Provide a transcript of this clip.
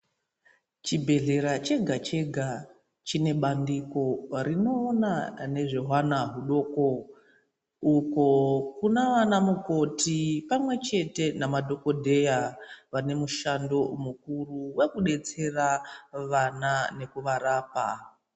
Chibhehlera chega-chega chine bandiko rinoona nezvehwana hudoko, uko Kuna vana mukoti pamwechete namadhokodheya vane mushando mukuru wekudetsera vana nekuvarapa.